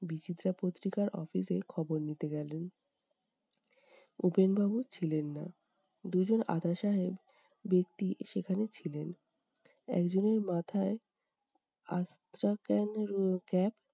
বিচিত্রা পত্রিকার office এ খবর নিতে গেলেন। উপেন বাবু ছিলেন না, দুজন আধা সাহেব ব্যক্তি সেখানে ছিলেন। একজনের মাথায়